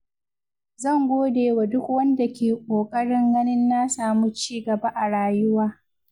Zan godewa duk wanda ke ƙoƙarin ganin na samu ci gaba a rayuwa.